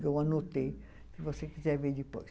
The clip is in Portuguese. Eu anotei, se você quiser ver depois.